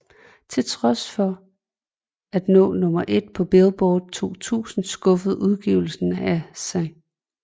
Til trods for at nå nummer 1 på Billboard 200 skuffede udgivelsen af St